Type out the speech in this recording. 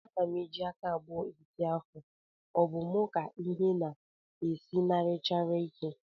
Ana m eji aka abụọ eti ọfọ, ọ bụ mụ ka ịhe na-esinarịchara ike?